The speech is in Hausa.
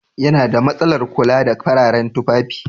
Yana da masalan kula da fararen tufafi